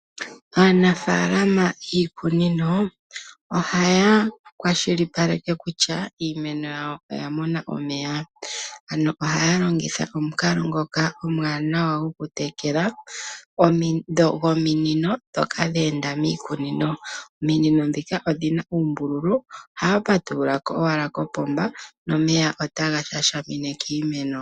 Aanafalama yiikunino ohaya kwashilipaleke kutya iimeno yawo oya mona omeya. Ano ohaya longitha omukalo ngoka omwaanawa gwo ku tekela , gominino ndhoka dheenda miikunino, ominino ndhika odhina uumbulu ohaya patululako owala kopomba nomeya otaga shashamine kiimeno.